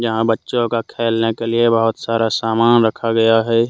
यहां बच्चों का खेलने के लिए बहुत सारा सामान रखा गया है।